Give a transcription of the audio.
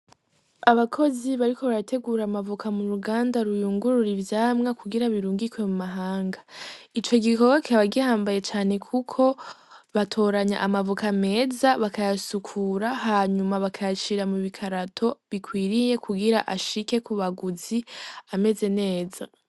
Abakozi bari ko barategura amavuka mu ruganda ruyungurura ivyamwa kugira birungikwe mu mahanga, ico gikoboke bagihambaye cane kuko batoranya amavuka ameza bakayasukura hanyuma bakayashira mu bikarato bikwiriye kugira ashike ku baguzi ameze neza.